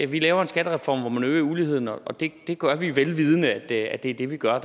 vi laver en skattereform hvor man øger uligheden og det gør vi velvidende at at det er det vi gør